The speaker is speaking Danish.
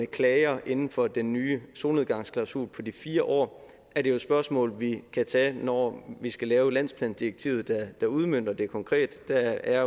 klager inden for den nye solnedgangsklausul på de fire år er det jo et spørgsmål vi kan tage når vi skal lave landsplandirektivet der udmønter det konkret der er